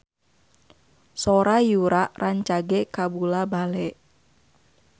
Sora Yura rancage kabula-bale